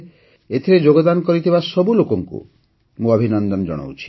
ଏଥିରେ ଯୋଗଦାନ କରିଥିବା ସବୁ ଲୋକଙ୍କୁ ମୁଁ ଅଭିନନ୍ଦନ ଜଣାଉଛି